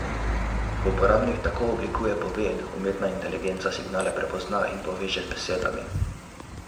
Ko uporabnik tako oblikuje poved, umetna inteligenca signale prepozna in poveže z besedami.